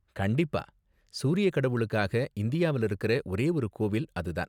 கண்டிப்பா, சூரிய கடவுளுக்காக, இந்தியாவுல இருக்குற ஒரே ஒரு கோவில் அது தான்.